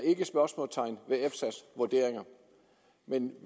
spørgsmålstegn ved efsa’s vurderinger men at